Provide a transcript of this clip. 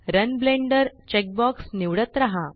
run Blender checkbox निवडत राहा